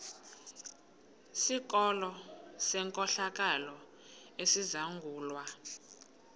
sikolo senkohlakalo esizangulwa